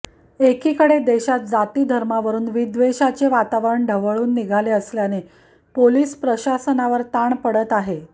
एकीकडे देशात जाती धर्मावरुन विद्वेषाचे वातावरणाने ढवळून निघाले असल्याने पोलिस प्रशासनावर ताण पडत आहे